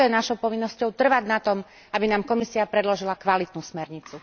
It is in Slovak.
A preto je našou povinnosťou trvať na tom, aby nám Komisia predložila kvalitnú smernicu.